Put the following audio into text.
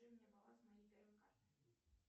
скажи мне баланс моей первой карты